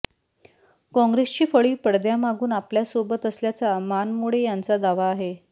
काँग्रेसची फळी पडद्यामागून आपल्यासोबत असल्याचा मानमोडे यांचा दावा आहे